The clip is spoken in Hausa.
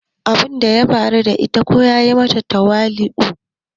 Abun da ya faru da ita ya koya mata tawali"u.